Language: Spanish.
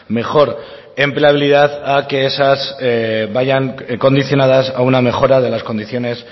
mejor empleabilidad a que esas vayan condicionadas a una mejora de las condiciones